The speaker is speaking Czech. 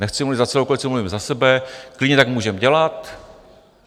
Nechci mluvit za celou koalici, mluvím za sebe, klidně tak můžeme dělat.